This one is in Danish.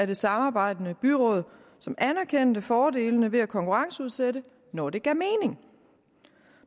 det samarbejdende byråd som anerkendte fordelene ved at konkurrenceudsætte når det gav mening